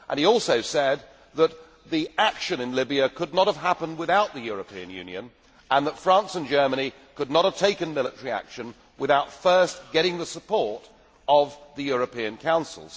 He also said that the action in Libya could not have happened without the European Union, and that France and Germany could not have taken military action without first getting the support of the European Council.